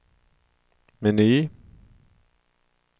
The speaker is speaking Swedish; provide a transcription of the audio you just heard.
meny